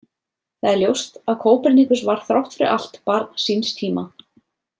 Það er ljóst að Kópernikus var þrátt fyrir allt barn síns tíma.